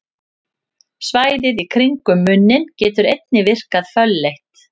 Svæðið í kringum munninn getur einnig virkað fölleitt.